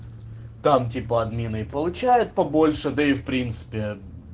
там типа админы и получают побольше да и в принципе